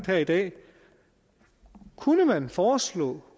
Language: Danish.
her i dag kunne man foreslå